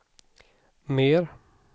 mer